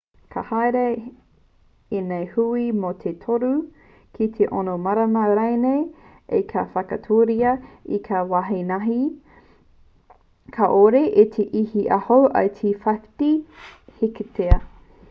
ka haere ēnei hui mō te toru ki te ono marama rānei ā ka whakatūria ki ngā wāhi kāore e iti iho i te 50 heketea